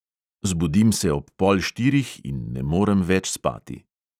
Zbudim se ob pol štirih in ne morem več spati.